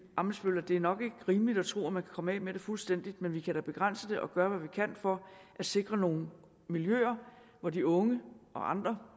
ammitzbøll i at det nok ikke er rimeligt at tro at man kan komme af med det fuldstændig men vi kan da begrænse det og gøre hvad vi kan for at sikre nogle miljøer hvor de unge og andre